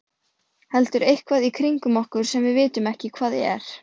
Heldur eitthvað í kringum okkur sem við vitum ekki hvað er.